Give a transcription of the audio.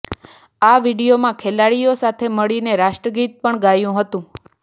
આ વીડિયોમાં ખેલાડીઓ સાથે મળીને રાષ્ટ્રગીત પણ ગાયું હતું